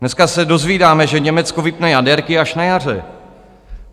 Dneska se dozvídáme, že Německo vypne jaderky až na jaře.